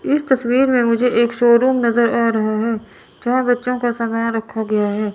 इस तस्वीर में मुझे एक शोरूम नजर आ रहा है जहां बच्चों का समान रखा गया है।